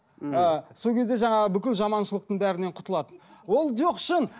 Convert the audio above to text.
ы сол кезде жаңағы бүкіл жаманшылықтың бәрінен құтылады ол жоқ шын